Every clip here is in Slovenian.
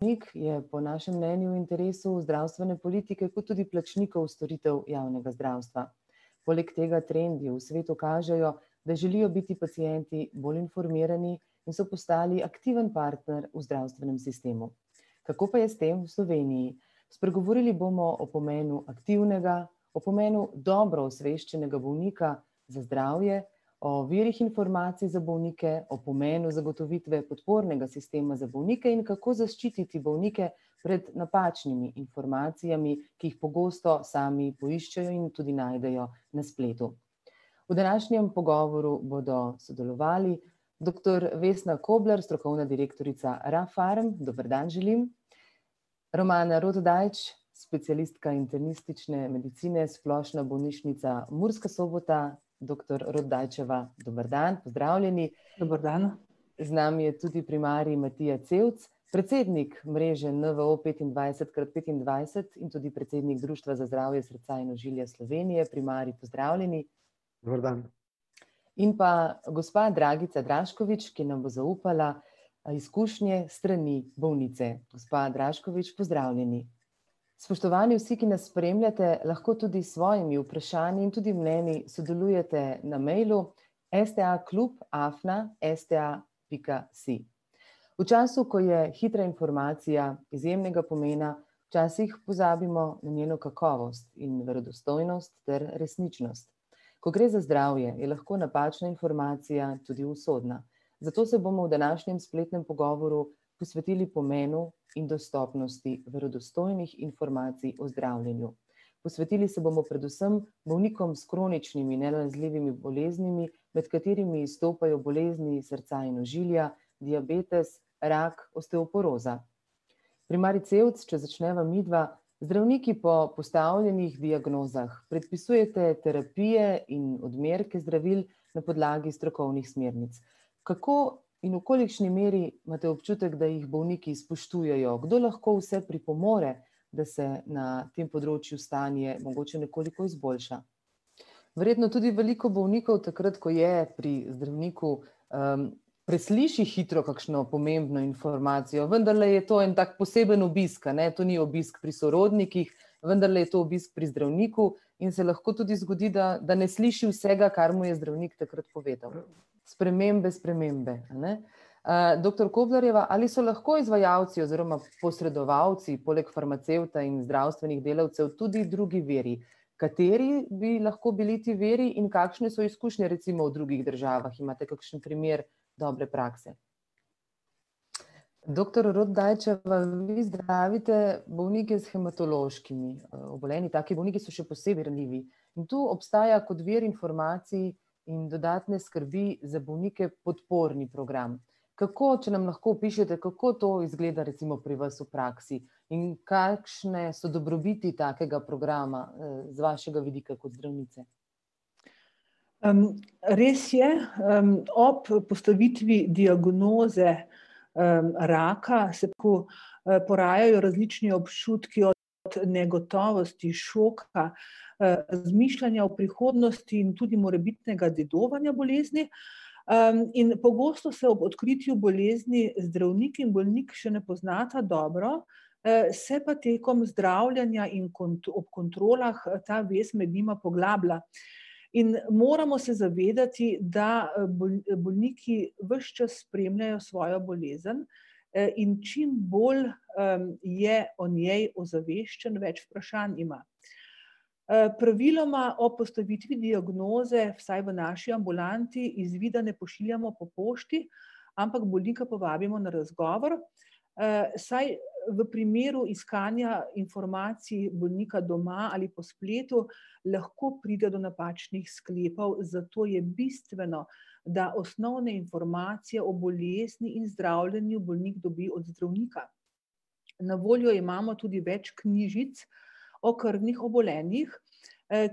()nik je po našem mnenju in interesu zdravstvene politike kot tudi plačnikov storitev javnega zdravstva. Poleg tega trendi v svetu kažejo, da želijo biti pacienti bolj informirani in so postali aktiven partner v zdravstvenem sistemu. Kako pa je s tem v Sloveniji? Spregovorili bomo o pomenu aktivnega, o pomenu dobro osveščenega bolnika za zdravje, o virih informacij za bolnike, o pomenu zagotovitve podpornega sistema za bolnike in kako zaščititi bolnike pred napačnimi informacijami, ki jih pogosto sami poiščejo in tudi najdejo na spletu. V današnjem pogovoru bodo sodelovali doktor [ime in priimek] , strokovna direktorica Rafarm, dober dan želim. [ime in priimek] , specialistka internistične medicine Splošna bolnišnica Murska Sobota, doktor Rotdajčeva, dober dan, pozdravljeni. Dober dan. Z nami je tudi primarij [ime in priimek] , predsednik mreže NVO petindvajset krat petindvajset in tudi predsednik Društva za zdravje srca in ožilja Slovenije, primarij, pozdravljeni. In pa gospa [ime in priimek] , ki nam bo zaupala izkušnje s strani bolnice, gospa Draškovič, pozdravljeni. Spoštovani vsi, ki nas spremljate, lahko tudi s svojimi vprašanji in tudi mnenji sodelujete na mailu: sta klub afna sta pika si. V času, ko je hitra informacija izjemnega pomena, včasih pozabimo na njeno kakovost in verodostojnost ter resničnost. Ko gre za zdravje, je lahko napačna informacija tudi usodna. Zato se bomo v današnjem spletnem pogovoru posvetili pomenu in dostopnosti verodostojnih informacij o zdravljenju. Posvetili se bomo predvsem bolnikom s kroničnimi nenalezljivimi boleznimi, med katerimi izstopajo bolezni srca in ožilja, diabetes, rak, osteoporoza. Primarij Cevc, če začneva midva. Zdravniki po postavljenih diagnozah predpisujete terapije in odmerke zdravil na podlagi strokovnih smernic. Kako in v kolikšni meri imate občutek, da jih bolniki spoštujejo, kdo lahko vse pripomore, da se na tem področju stanje mogoče nekoliko izboljša? Verjetno tudi veliko bolnikov takrat, ko je pri zdravniku, presliši hitro kakšno pomembno informacijo, vendarle je to en tak poseben obisk, a ne, to ni obisk pri sorodnikih, vendarle je to obisk pri zdravniku in se lahko tudi zgodi, da da ne sliši vsega, kar mu je zdravnik takrat povedal. Spremembe, spremembe, a ne? doktor Koblarjeva, ali so lahko izvajalci oziroma posredovalci poleg farmacevta in zdravstvenih delavcev tudi drugi viri? Kateri bi lahko bili ti viri in kakšne so izkušnje recimo v drugih državah, imate kakšen primer dobre prakse? Doktor Rotdajčeva, vi zdravite bolnike s hematološkimi, obolenji, taki bolniki so še posebej ranljivi. In tu obstaja kot vir informacij in dodatne skrbi za bolnike podporni program. Kako, če nam lahko opišete, kako to izgleda recimo pri vas v praksi? In kakšne so dobrobiti takega programa, z vašega vidika kot zdravnice? Res je, ob postavitvi diagnoze, raka se tako, porajajo različni občutki od negotovosti, šoka, razmišljanja o prihodnosti in tudi morebitnega dedovanja bolezni. in pogosto se ob odkritju bolezni zdravnik in bolnik še ne poznata dobro, se pa tekom zdravljenja in ob kontrolah ta vez med njima poglablja. In moramo se zavedati, da, bolniki ves čas spremljajo svojo bolezen, in čim bolj, je o njej ozaveščen, več vprašanj ima. praviloma ob postavitvi diagnoze, vsaj v naši ambulanti, izvida ne pošiljamo po pošti, ampak bolnika povabimo na razgovor, saj v primeru iskanja informacij bolnika doma ali po spletu, lahko pride do napačnih sklepov, zato je bistveno, da osnovne informacije o bolezni in zdravljenju bolnik dobi od zdravnika. Na voljo imamo tudi več knjižic o krvnih obolenjih,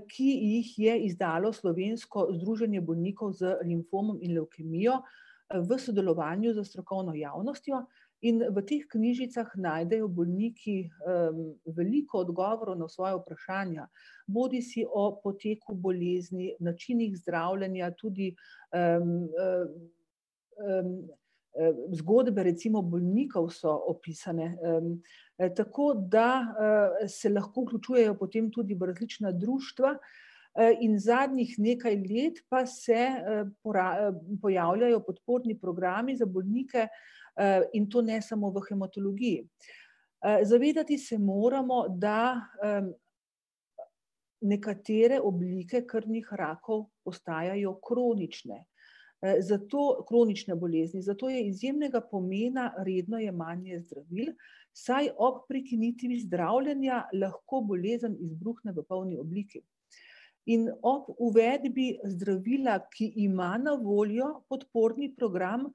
ki jih je izdalo Slovensko združenje bolnikov z limfomom in levkemijo, v sodelovanju s strokovno javnostjo in v teh knjižicah najdejo bolniki, veliko odgovorov na svoja vprašanja. Bodisi o poteku bolezni, načinih zdravljenja tudi, zgodbe recimo bolnikov so opisane, Tako da, se lahko vključujejo potem tudi v različna društva, in zadnjih nekaj let pa se, pojavljajo podporni programi za bolnike, in to ne samo v hematologiji. zavedati se moramo, da, nekatere oblike krvnih rakov ostajajo kronične, zato, kronične bolezni, zato je izjemnega pomena redno jemanje zdravil, saj ob prekinitvi zdravljenja lahko bolezen izbruhne v polni obliki. In ob uvedbi zdravila, ki ima na voljo podporni program,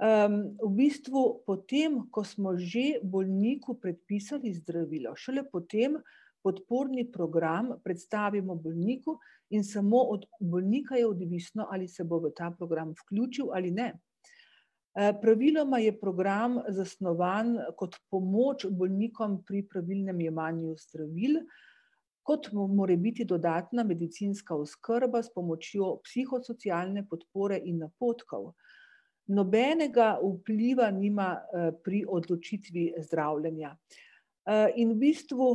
v bistvu potem, ko smo že bolniku predpisali zdravilo, šele potem podporni program predstavimo bolniku in samo od bolnika je odvisno, ali se bo v ta program vključil ali ne. praviloma je program zasnovan kot pomoč bolnikom pri pravilnem jemanju zdravil kot morebiti dodatna medicinska oskrba s pomočjo psihosocialne podpore in napotkov. Nobenega vpliva nima, pri odločitvi zdravljenja. in v bistvu,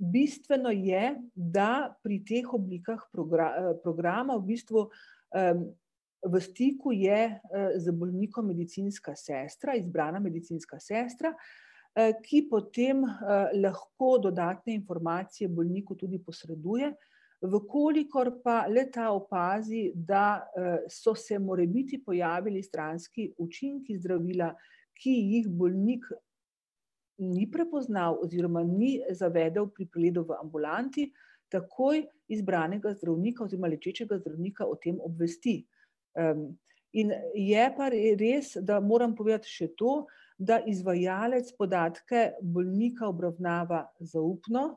bistveno je, da pri teh oblikah programa v bistvu, v stiku je, z bolnikom medicinska sestra, izbrana medicinska sestra, ki potem, lahko dodatne informacije bolniku tudi posreduje. V kolikor pa le-ta opazi, da, so se morebiti pojavili stranski učinki zdravila, ki jih bolnik ni prepoznal oziroma ni zavedel pri pregledu v ambulanti, takoj izbranega zdravnika oziroma lečečega zdravnika o tem obvesti. In je pa res, da moram povedati še to, da izvajalec podatke bolnika obravnava zaupno,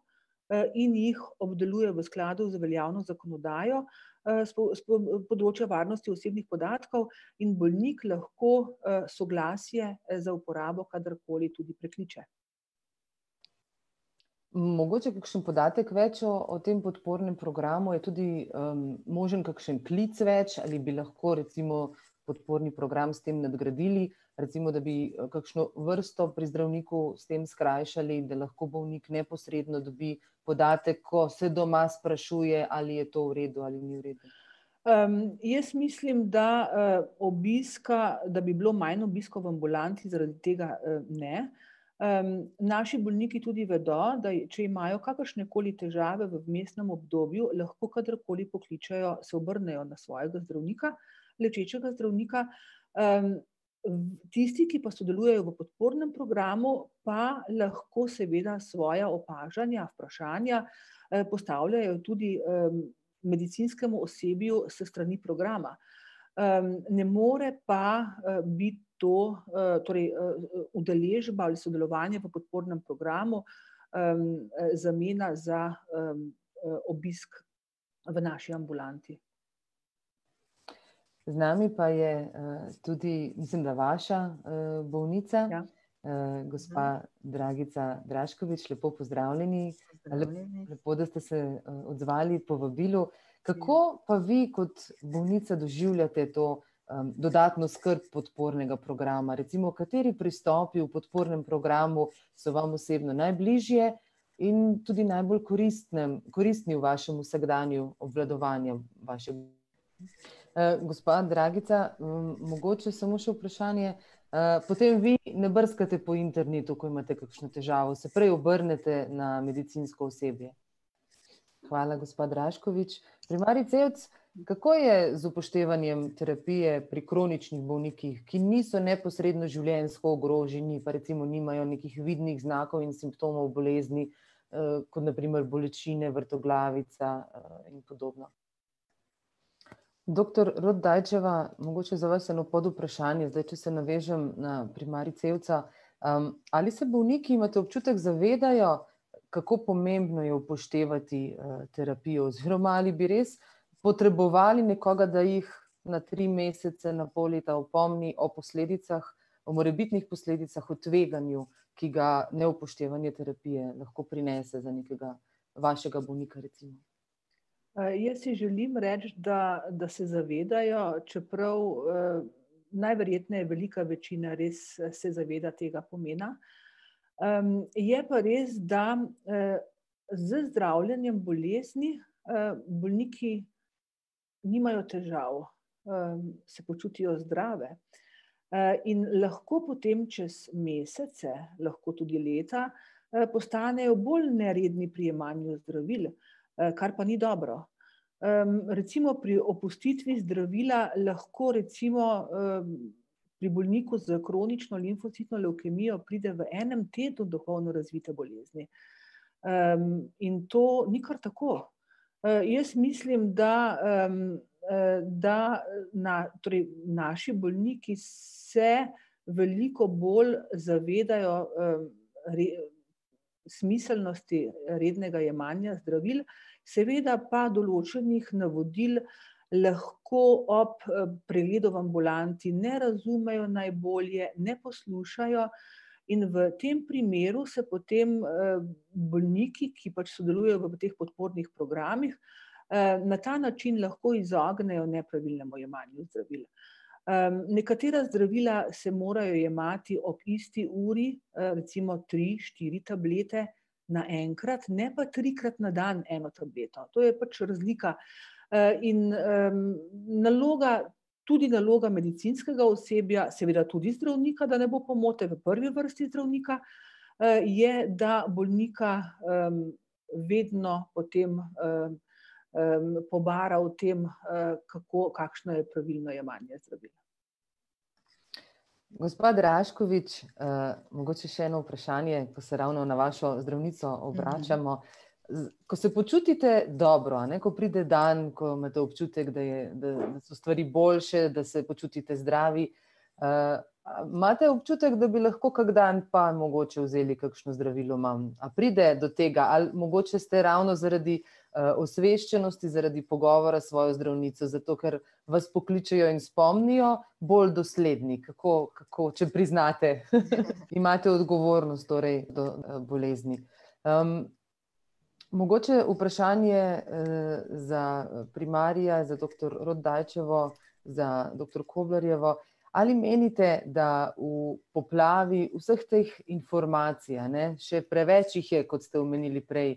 in jih obdeluje v skladu z veljavno zakonodajo s s področja varnostjo osebnih podatkov in bolnik lahko, soglasje za uporabo kadarkoli tudi prekliče. Mogoče kakšen podatek več o o tem podpornem programu, je tudi, možen kakšen klic več ali bi lahko recimo podporni program s tem nadgradili, recimo da bi, kakšno vrsto pri zdravniku s tem skrajšali, da lahko bolnik neposredno dobi podatek, ko se doma sprašuje, ali je to v redu ali ni v redu? jaz mislim, da, obiska, da bi bilo manj obiskov v ambulanti zaradi tega, ne. naši bolniki tudi vedo, da če imajo kakršnekoli težave v vmesnem obdobju, lahko kadarkoli pokličejo, se obrnejo na svojega zdravnika, lečečega zdravnika. V, tisti, ki pa sodelujejo v podpornem programu pa lahko seveda svoja opažanja, vprašanja, postavljajo tudi, medicinskemu osebju s strani programa. ne more pa, biti to, torej, udeležba ali sodelovanje v podpornem programu, zamena za, obisk v naši ambulanti. Z nami pa je, tudi, mislim, da vaša, bolnica, gospa [ime in priimek] , lepo pozdravljeni Lepo, da ste se, odzvali povabilu. Kako pa vi kot bolnica doživljate to, dodatno skrb podpornega programa, recimo kateri pristopi v podpornem programu so vam osebno najbližje in tudi najbolj koristnem, koristni v vašem vsakdanju, obvladovanjem gospa Dragica, mogoče samo še vprašanje, potem vi ne brskate po internetu, ko imate kakšno težavo, se prej obrnete na medicinsko osebje? Hvala, gospa Draškovič. Primarij Cevc, kako je z upoštevanjem terapije pri kroničnih bolnikih, ki niso neposredno življenjsko ogroženi pa recimo nimajo nekih vidnih znakov in simptomov bolezni, kot na primer bolečine, vrtoglavica, in podobno? Doktor Rotdajčeva, mogoče za vas eno podvprašanje, zdaj če se navežem na primarij Cevca. ali se bolniki, imate občutek, zavedajo, kako pomembno je upoštevati, terapijo oziroma ali bi res potrebovali nekoga, da jih na tri mesece, na pol leta opomni o posledicah, o morebitnih posledicah, o tveganju, ki ga neupoštevanje terapije lahko prinese, za nekega vašega bolnika recimo? jaz si želim reči, da da se zavedajo, čeprav, najverjetneje velika večina res se zaveda tega pomena. je pa res, da, z zdravljenjem bolezni, bolniki nimajo težav, se počutijo zdrave. in lahko potem čez mesece, lahko tudi leta, postanejo bolj neredni pri jemanju zdravil, kar pa ni dobro. recimo pri opustitvi zdravila lahko recimo, pri bolniku s kronično limfocitno levkemijo pride v enem tednu do polno razvite bolezni. in to ni kar tako. jaz mislim, da, da torej naši bolniki se veliko bolj zavedajo, smiselnosti rednega jemanja zdravil. Seveda pa določenih navodil lahko ob pregledu v ambulanti ne razumejo najbolje, ne poslušajo in v tem primeru se potem, bolniki, ki pač sodelujejo v teh podpornih programih, na ta način lahko izognejo nepravilnemu jemanju zdravil. nekatera zdravila se morajo jemati ob isti uri, recimo tri, štiri tablete naenkrat, ne pa trikrat na dan eno tableto, to je pač razlika. in, naloga, tudi naloga medicinskega osebja, seveda tudi zdravnika, da ne bo pomote, v prvi vrsti zdravnika, je, da bolnika, vedno potem, pobara o tem, kako, kakšno je pravilno jemanje zdravil. Gospa Draškovič, mogoče še eno vprašanje, ko se ravno na vašo zdravnico obračamo. Z ko se počutite dobro, a ne, ko pride dan, ko imate občutek, da je da so stvari boljše, da se počutite zdravi, imate občutek, da bi lahko kako dan pa mogoče vzeli kakšno zdravilo manj? A pride to tega ali mogoče ste ravno zaradi, osveščenosti zaradi pogovora s svojo zdravnico, zato ker vas pokličejo in spomnijo, bolj dosledni kako, kako, če priznate? Imate odgovornost torej, do bolezni. Mogoče vprašanje, za, primarija, za doktor Rotdajčevo, za doktor Koblarjevo. Ali menite, da v poplavi vseh teh informacij, a ne, še preveč jih je, kot ste omenili prej,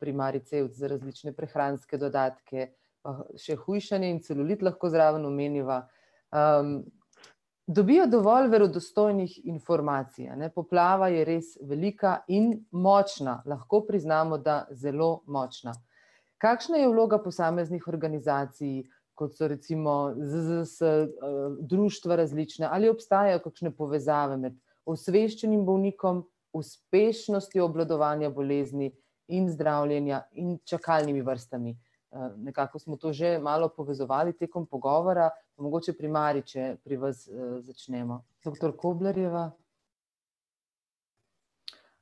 primarij Cevc, za različne prehranske dodatke, še hujšanje in celulit lahko zraven omeniva. Dobijo dovolj verodostojnih informacij, a ne, poplava je res velika in močna, lahko priznamo, da zelo močna. Kakšna je vloga posameznih organizacij, kot so recimo ZZZS, društva različna, ali obstajajo kakšne povezave med osveščenim bolnikom, uspešnostjo obvladovanja bolezni in zdravljenja in čakalnimi vrstami? nekako smo to že malo povezovali tekom pogovora, mogoče primarij, če pri vas, začnemo. Doktor Koblarjeva.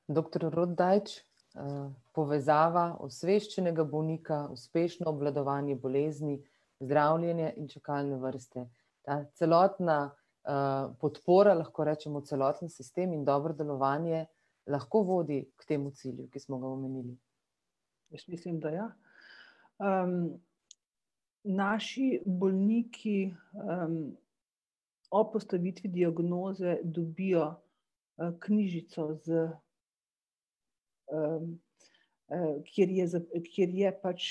Doktor Rotdajč, povezava osveščenega bolnika, uspešno obvladovanje bolezni, zdravljenje in čakalne vrste. Ta celotna, podpora lahko rečemo, celoten sistem in dobro delovanje, lahko vodi k temu cilju, ki smo ga omenili? Jaz mislim, da ja. Naši bolniki, ob postavitvi diagnoze dobijo, knjižico z, kjer je kjer je pač,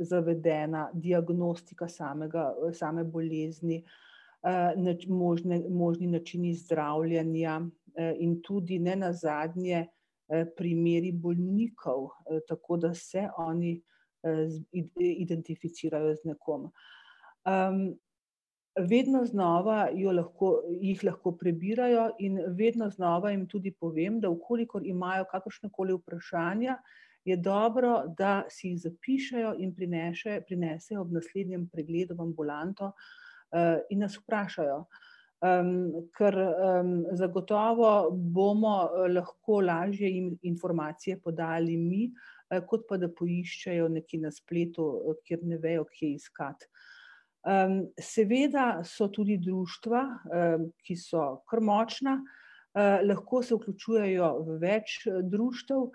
zavedena diagnostika samega, same bolezni, možne, možni načini zdravljenja, in tudi nenazadnje, primeri bolnikov, tako da se oni, identificirajo z nekom. Vedno znova jo lahko, jih lahko prebirajo in vedno znova jim tudi povem, da v kolikor imajo kakršnakoli vprašanja, je dobro, da si jih zapišejo in prinesejo ob naslednjem pregledu v ambulanto, in nas vprašajo. ker, zagotovo bomo lahko lažje informacije podajali mi, kot pa da poiščejo nekje na spletu, kjer ne vejo, kje iskati. seveda so tudi društva, ki so kar močna, lahko se vključujejo v več društev,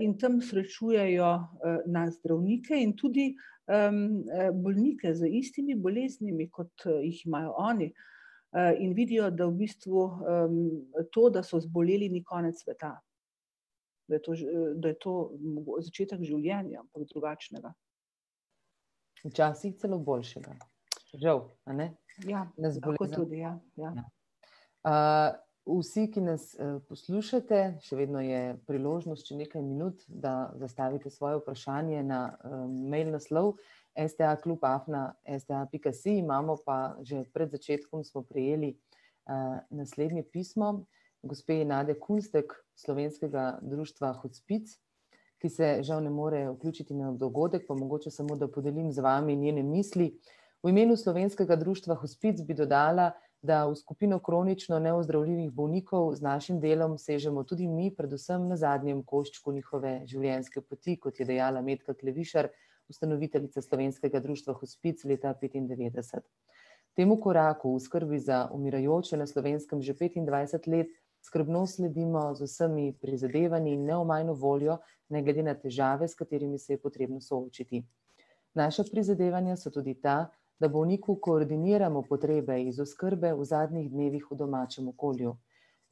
in tam srečujejo, nas zdravnike in tudi, bolnike z istimi boleznimi, kot jih imajo oni. in vidijo, da v bistvu, to, da so zboleli, ni konec sveta, da je to da je to začetek življenja, ampak drugačnega. Včasih celo boljšega. Žal, a ne. Ja, lahko tudi ja, ja. Nas vsi, ki nas, poslušate, še vedno je priložnost, še nekaj minut, da zastavite svoje vprašanje na mail naslov: sta klub afna sta pika si. Imamo pa, že pred začetkom smo prejeli, naslednje pismo gospe [ime in priimek] Slovenskega društva Hospic, ki se žal ne more vključiti na dogodek, pa mogoče samo, da podelim z vami njene misli. V imenu Slovenskega društva Hospic bi dodala, da v skupino kronično neozdravljivih bolnikov z našim delom sežemo tudi mi, predvsem na zadnjem koščku njihove življenjske poti, kot je dejala [ime in priimek] , ustanoviteljica Slovenskega društva Hospic, leta petindevetdeset. Temu koraku v skrbi za umirajoče na Slovenskem že petindvajset let skrbno sledimo z vsemi prizadevanji in neomajno voljo, ne glede na težave, s katerimi se je potrebno soočiti. Naša prizadevanja so tudi ta, da bolniku koordiniramo potrebe iz oskrbe v zadnjih dnevih v domačem okolju.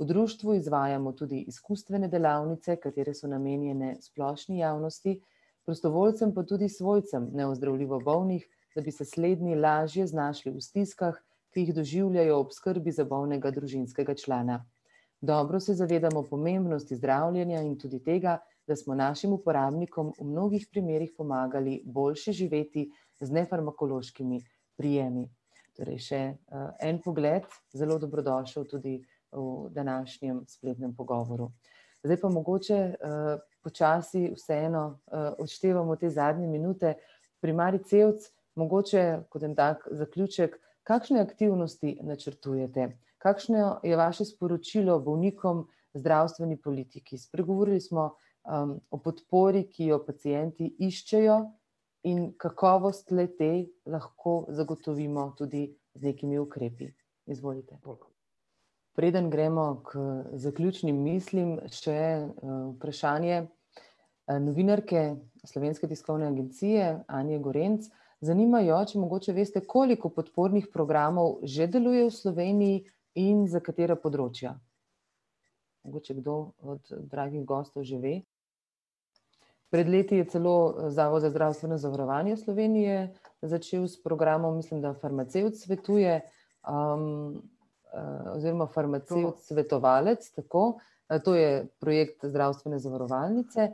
V društvu izvajamo tudi izkustvene delavnice, katere so namenjene splošni javnosti, prostovoljcem pa tudi svojcem neozdravljivo bolnih, da bi se slednji lažje znašli v stiskah, ki jih doživljajo ob skrbi za bolnega družinskega člana. Dobro se zavedamo pomembnosti zdravljenja in tudi tega, da smo našim uporabnikom v mnogih primerih pomagali boljše živeti z nefarmakološkimi prijemi. Torej še, en pogled, zelo dobrodošel tudi v današnjem pogovoru spletnem. Zdaj pa mogoče, počasi vseeno, odštevamo te zadnje minute. Primarij Cevc, mogoče kot en tak zaključek, kakšne aktivnosti načrtujete? Kakšno je vaše sporočilo bolnikom, zdravstveni politiki? Spregovorili smo, o podpori, ki jo pacienti iščejo in kakovost le-te lahko zagotovimo tudi z nekimi ukrepi. Izvolite. Preden gremo k zaključnim mislim, še, vprašanje novinarke Slovenske tiskovne agencije, [ime in priimek] . Zanima jo, če mogoče veste, koliko podpornih programov že deluje v Sloveniji in za katera področja? Mogoče kdo od dragih gostov že ve? Pred leti je celo, Zavod za zdravstveno zavarovanje Slovenije začel s programom, mislim da, Farmacevt svetuje, oziroma Farmacevt svetovalec, tako. to je projekt zdravstvene zavarovalnice,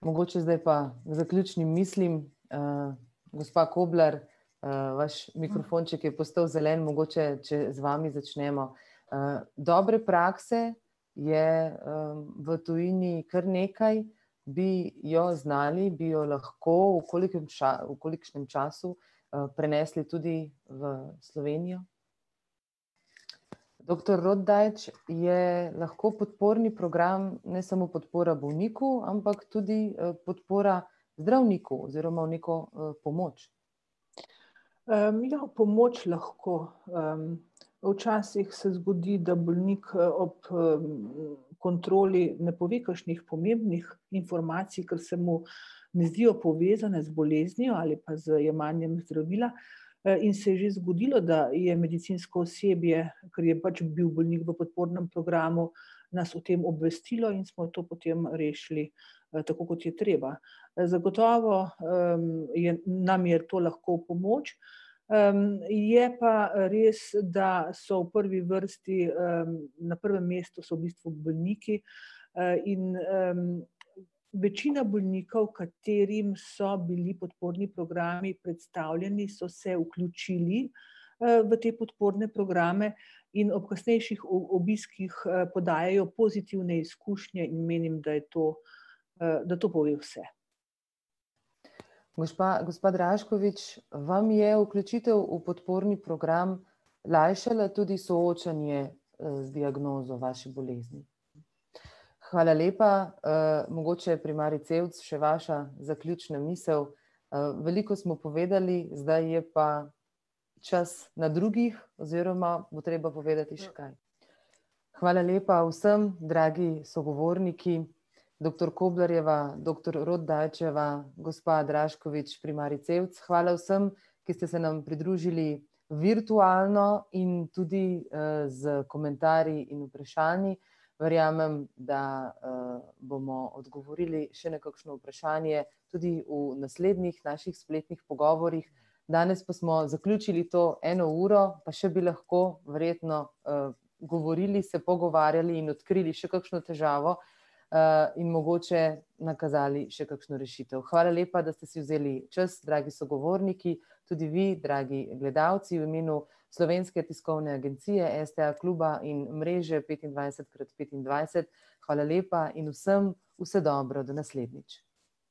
Mogoče zdaj pa k zaključnim mislim. Gospa Koblar, vaš mikrofonček je postal zelen, mogoče če z vami začnemo. dobre prakse je, v tujini kar nekaj. Bi jo znali, bi jo lahko, v kolikem v kolikšnem času, prenesli tudi v Slovenijo? Doktor Rotdajč, je lahko podporni program ne samo podpora bolniku, ampak tudi, podpora zdravniku oziroma v neko pomoč? ja, v pomoč lahko, Včasih se zgodi, da bolnik ob, kontroli ne pove kakšnih pomembnih informacij, ker se mu ne zdijo povezane z boleznijo ali pa z jemanjem zdravila. in se je že zgodilo, da je medicinsko osebje, ker je pač bil bolnik v podpornem programu, nas o tem obvestilo in smo to potem rešili, tako kot je treba. Zagotovo, je, nam je to lahko v pomoč, je pa res, da so v prvi vrsti, na prvem mestu so v bistvu bolniki. in, večina bolnikov, katerim so bili podporni programi predstavljeni, so se vključili, v te podporne programe in ob kasnejših obiskih, podajajo pozitivne izkušnje in menim, da je to, da to pove vse. Gošpa, gospa Draškovič, vam je vključitev v podporni program lajšala tudi soočanje z diagnozo vaše bolezni? Hvala lepa. mogoče primarij Cevc še vaša zaključna misel. veliko smo povedali, zdaj je pa čas na drugih oziroma bo treba povedati še kaj. Hvala lepa vsem, dragi sogovorniki, doktor Koblarjeva, doktor Rotdajčeva, gospa Draškovič, primarij Cevc. Hvala vsem, ki ste se nam pridružili virtualno in tudi, s komentarji in vprašanji. Verjamem, da, bomo odgovorili še na kakšno vprašanje tudi v naslednjih naših spletnih pogovorih. Danes pa smo zaključili to eno uro, pa še bi lahko, verjetno, govorili, se pogovarjali in odkrili še kakšno težavo, in mogoče nakazali še kakšno rešitev. Hvala lepa, da ste si vzeli čas, dragi sogovorniki, tudi vi, dragi gledalci, v imenu Slovenske tiskovne agencije, STA-kluba in mreže petindvajset krat petindvajset. Hvala lepa in vsem vse dobro do naslednjič.